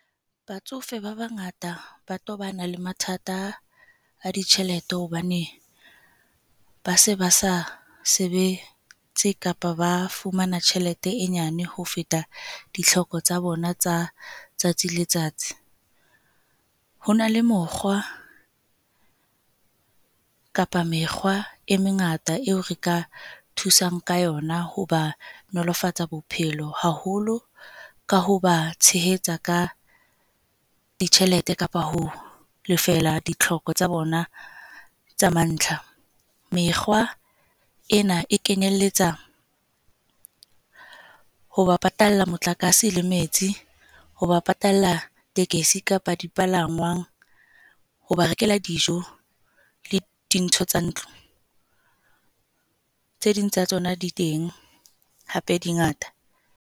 Batsofe ba bangata ba tobana le mathata a ditjhelete hobane ba se ba sa sebetse kapa ba fumana tjhelete e nyane ho feta ditlhoko tsa bona tsa tsatsi letsatsi. Ho na le mokgwa kapa mekgwa e mengata eo re ka thusang ka yona ho ba nolofatsa bophelo, haholo ka ho ba tshehetsa ka ditjhelete kapa ho lefela ditlhoko tsa bona tsa mantlha. Mekgwa ena e kenyelletsa ho ba patalla motlakase le metsi, ho ba patalla tekesi kapa dipalangwang. Ho ba rekela dijo le dintho tsa ntlo. Tse ding tsa tsona di teng, hape di ngata.